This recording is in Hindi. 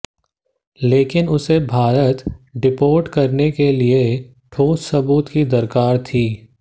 लेकिन उसे भारत डिपोर्ट करने के लिए ठोस सबूत की दरकार थी